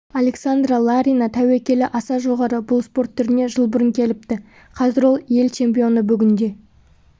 александра ларина тәуекелі аса жоғары бұл спорт түріне жыл бұрын келіпті қазір ол ел чемпионы бүгінде